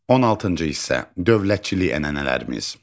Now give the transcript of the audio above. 16-cı hissə Dövlətçilik ənənələrimiz.